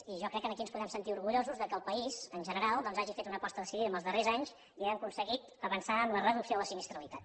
i jo crec que aquí ens podem sentir orgullosos que el país en general doncs hagi fet una aposta decidida en els darrers anys i hàgim aconseguit avançar amb la reducció de la sinistralitat